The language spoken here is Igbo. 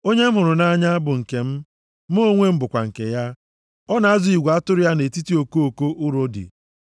Onye m hụrụ nʼanya bụ nke m, mụ onwe m bụkwa nke ya. Ọ na-azụ igwe atụrụ ya nʼetiti okoko urodi,